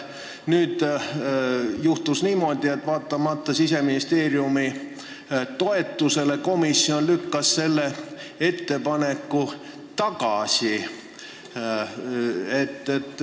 Nüüd juhtus niimoodi, et vaatamata Siseministeeriumi toetusele lükkas komisjon selle ettepaneku tagasi.